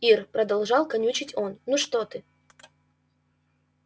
ир продолжал канючить он ну что ты